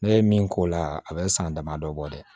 Ne ye min k'o la a bɛ san dama dɔ bɔ dɛ